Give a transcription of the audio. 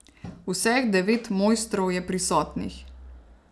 Vseh devet mojstrov je prisotnih.